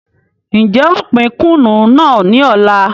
N jẹ ó pín Kùnú náà ni ọ̀la.